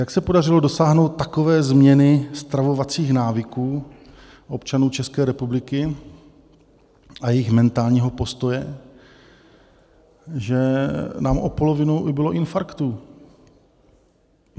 Jak se podařilo dosáhnout takové změny stravovacích návyků občanů České republiky a jejich mentálního postoje, že nám o polovinu ubylo infarktů?